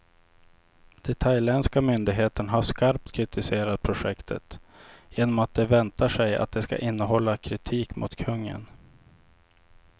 De thailändska myndigheterna har skarpt kritiserat projektet, genom att de väntar sig att det ska innehålla kritik mot kungen.